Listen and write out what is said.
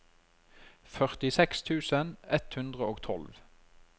førtiseks tusen ett hundre og tolv